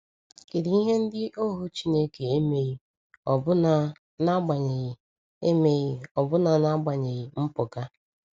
Kedụ ihe ndị ohu Chineke emeghị ọbụna n’agbanyeghị emeghị ọbụna n’agbanyeghị mpụga?